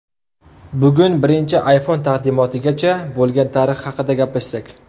Bugun birinchi iPhone taqdimotigacha bo‘lgan tarix haqida gaplashsak.